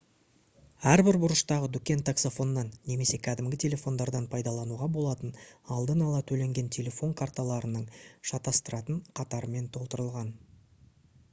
әрбір бұрыштағы дүкен таксофоннан немесе кәдімгі телефондардан пайдалануға болатын алдын ала төленген телефон карталарының шатастыратын қатарымен толтырылған